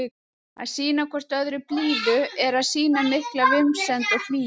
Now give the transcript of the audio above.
Að sýna hvort öðru blíðu er að sýna mikla vinsemd og hlýju.